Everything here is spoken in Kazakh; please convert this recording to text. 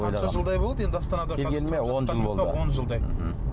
жылдай болды енді астанада келгеніме он жыл болды он жылдай мхм